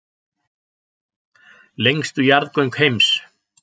Lengstu jarðgöng heims